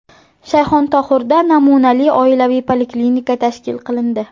Shayxontohurda namunali oilaviy poliklinika tashkil qilindi.